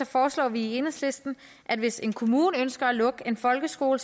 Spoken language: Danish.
foreslår vi i enhedslisten at hvis en kommune ønsker at lukke en folkeskole